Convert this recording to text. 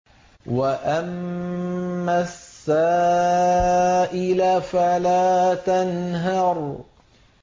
وَأَمَّا السَّائِلَ فَلَا تَنْهَرْ